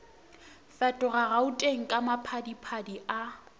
fetoga gauteng ka maphadiphadi a